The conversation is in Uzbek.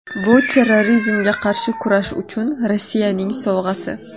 Bu terrorizmga qarshi kurash uchun Rossiyaning sovg‘asi.